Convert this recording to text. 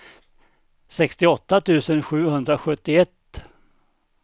sextioåtta tusen sjuhundrasjuttioett